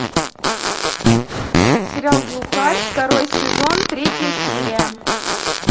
сериал глухарь второй сезон третья серия